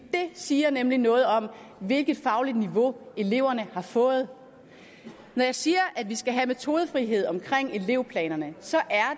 siger nemlig noget om hvilket fagligt niveau eleverne har fået når jeg siger at vi skal have metodefrihed omkring elevplanerne så er